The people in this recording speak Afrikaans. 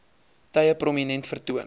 tye prominent vertoon